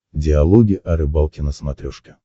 диалоги о рыбалке на смотрешке